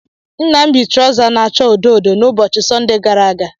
Nna m yi trọza na-acha odo odo n'ụbọchị Sọnde gara aga.